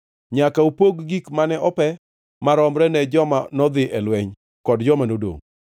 Nyaka upogi gik mane ope maromre ne joma nodhi e lweny kod joma nodongʼ.